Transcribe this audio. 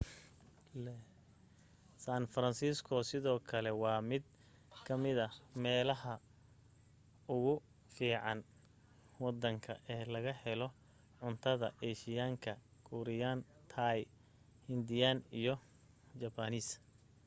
san francisco sidoo kale waa mid ka mida meelaha ugu fiican waddanka ee laga helo cuntada eeshiyaanka kuuriyaan taay hindiyaan iyo jabbaaniis